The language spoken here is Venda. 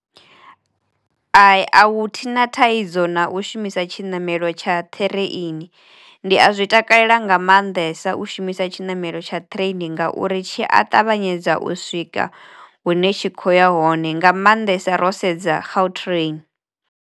Thina thaidzo na u shumisa tshiṋamelo tsha ṱhireini. Ndi a zwi takalela nga mannḓesa u shumisa tshiṋamelo tsha ṱireini ngauri tshi a ṱavhanyedza u swika hune tshi kho ya hone nga mannḓesa ro sedza gautrain.